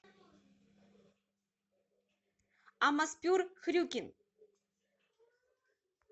амаспюр хрюкин